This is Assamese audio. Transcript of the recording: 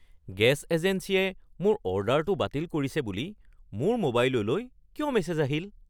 গেছ এজেন্সীয়ে মোৰ অৰ্ডাৰটো বাতিল কৰিছে বুলি মোৰ মোবাইললৈ কিয় মেছেজ আহিল?